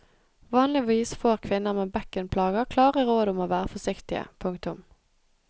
Vanligvis får kvinner med bekkenplager klare råd om å være forsiktige. punktum